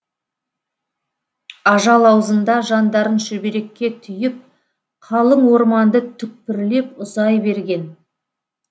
ажал аузында жандарын шүберекке түйіп қалың орманды түкпірлеп ұзай берген